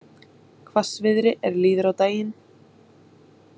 Hvassviðri er líður á daginn